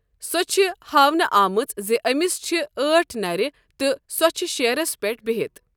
سۄ چھ ہاونہٕ آمٕژ زِ أمِس چھِ أٹھ نر تہٕ سۄ چھِ شیرَس پٮ۪ٹھ بِہتھ۔۔